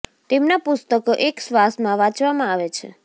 તેમના પુસ્તકો એક શ્વાસ માં વાંચવામાં આવે છે